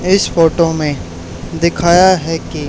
इस फोटो में दिखाया है कि--